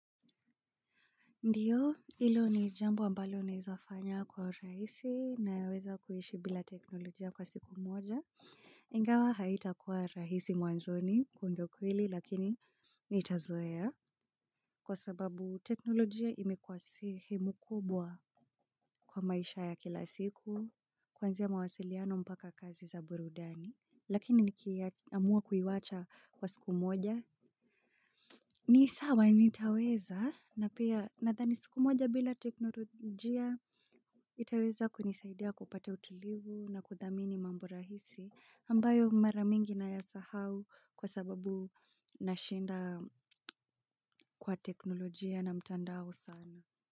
Ndiyo, ilo ni jambo ambalo unaezafanya kwa rahisi nayaweza kuishi bila teknolojia kwa siku moja. Ingawa haitakuwa rahisi mwanzoni, hu ndio ukweli, lakini nitazoea. Kwa sababu teknolojia imekuwa sehemu kubwa kwa maisha ya kila siku, kwanzia mawasiliano mpaka kazi za burudani. Lakini nikiaamua kuiwacha kwa siku moja. Ni sawa nitaweza na pia nadhani siku moja bila teknolojia itaweza kunisaidia kupata utulivu na kudhamini mambo rahisi ambayo mara mingi nayasahau kwa sababu nashinda kwa teknolojia na mtandao sana.